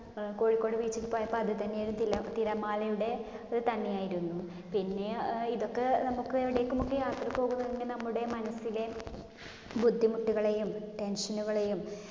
ഏർ Kozhikode beach ൽ പോയപ്പോള്‍ അതുതന്നെ തിലതിരമാലയുടെ തന്നെയായിരുന്നു. പിന്നെ ഏർ ഇതൊക്കെ നമ്മക്ക് എവിടെക്കുമൊക്കെ പോകുകയാണെങ്കിൽ നമ്മുടെ മനസ്സിലെ ബുദ്ധിമുട്ടുകളേയും tension കളേയും